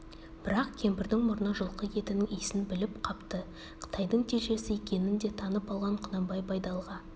бірақ кемпірдің мұрны жылқы етінің иісін біліп қапты тайдың телшесі екенін де танып алған құнанбай байдалыға